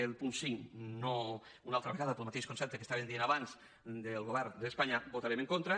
al punt cinc no una altra vegada pel mateix concepte que estàvem dient abans del govern d’espanya hi votarem en contra